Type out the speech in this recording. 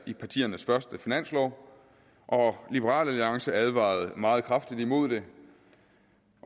i partiernes første finanslov liberal alliance advarede meget kraftigt imod det